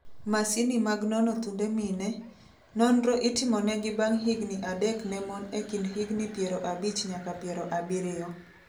Masini mag nono thunde mine, nonro itimonegi bang' higni adek ne mon e kind higni piero abich nyaka piero abirio.